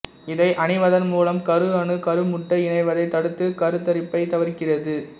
இதை அணிவதன் மூலம் கரு அணு கரு முட்டை இணைவதை தடுத்து கருதரிப்பைத் தவிர்க்கிறது